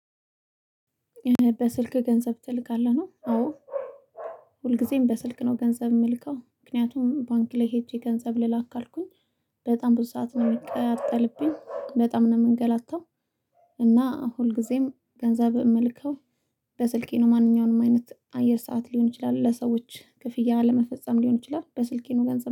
በስልክ ገንዘብ ትልካለህ ነው አዎ። ሁልጊዜም በስልክ ነው ገንዘብ የምልከው ምክንያቱም ባንክ ላይ ሄጄ ገንዘብ ልላክ ካልኩኝ። በጣም ብዙ ሰዓት ነው የሚቃጠልብኝ በጣም ነው የምንገላታው። እና ሁልጊዜም ገንዘብ እምልከው በስልኬ ነው። ማንኛውንም አይነት አየር ሰዓት ሊሆን ይችላል ለሰዎች ክፍያ ለመፈጸም ሊሆን ይችላል። በስልኬነው ገንዘብ